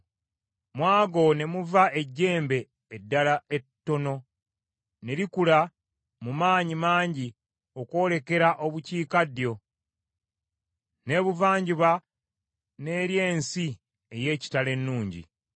Mu ago ne muva ejjembe eddala ettono, ne likula mu maanyi mangi okwolekera obukiikaddyo, n’ebuvanjuba n’eri ensi ey’ekitalo ennungi.